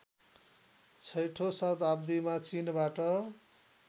छैठौँ शताब्दिमा चिनबाट